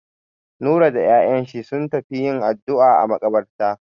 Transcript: Nura da 'ya'yan shi sun tafi yin addu'a a maƙabarta.